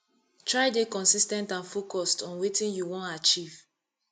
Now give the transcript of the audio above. try de consis ten t and focused on wetin you won achieve